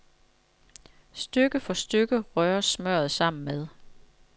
Stykke for stykke røres smørret sammen med